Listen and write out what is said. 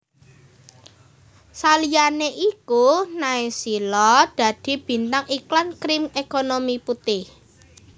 Saliyané iku Naysila dadi bintang iklan Krim Ekonomi Putih